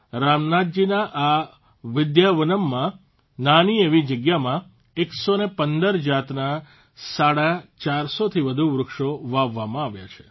રામનાથજીના આ વિદ્યાવનમમાં નાની એવી જગ્યામાં ૧૧૫ જાતના સાડા ચારસોથી વધુ વૃક્ષો વાવવામાં આવ્યા છે